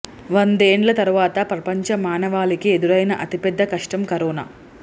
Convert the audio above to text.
వందేండ్ల తర్వాత ప్రపంచ మానవాళికి ఎదురైన అతి పెద్ద కష్టం కరోనా